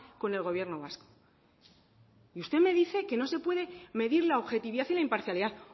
con el gobierno vasco y usted me dice que no se puede medir la objetividad y la imparcialidad